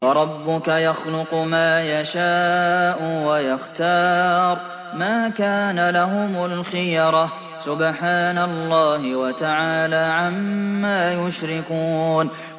وَرَبُّكَ يَخْلُقُ مَا يَشَاءُ وَيَخْتَارُ ۗ مَا كَانَ لَهُمُ الْخِيَرَةُ ۚ سُبْحَانَ اللَّهِ وَتَعَالَىٰ عَمَّا يُشْرِكُونَ